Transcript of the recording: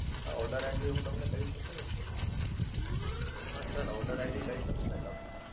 હા OrderID હું તમને કઈ શકું ને, હાં sir order ID કઈ શકું ને તમને!